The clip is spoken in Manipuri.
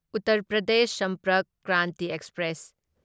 ꯎꯠꯇꯔ ꯄ꯭ꯔꯗꯦꯁ ꯁꯝꯄꯔꯛ ꯀ꯭ꯔꯥꯟꯇꯤ ꯑꯦꯛꯁꯄ꯭ꯔꯦꯁ